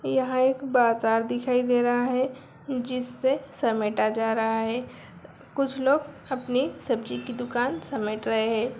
यहां एक बाजार दिखाई दे रहा है जिससे समेटा जा रहा है कुछ लोग अपनी सब्जी की दुकान समेट रहे हैं।